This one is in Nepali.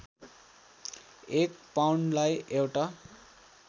एक पाउन्डलाई एउटा